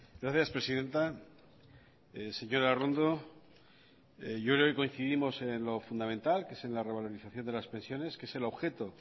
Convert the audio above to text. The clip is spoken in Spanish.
gracias presidenta señora arrondo hoy coincidimos en lo fundamental que es la revaloración de las pensiones que es el objeto